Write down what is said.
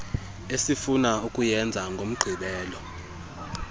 esifuna ukuyenza ngomgqibelo